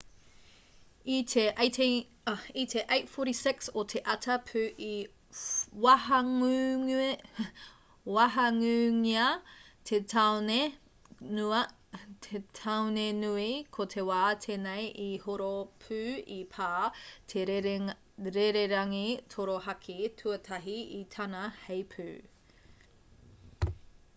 i te 8:46 o te ata pū i wahangūngia te tāone nui ko te wā tēnei i horo pū i pā te rererangi torohaki tuatahi i tana heipū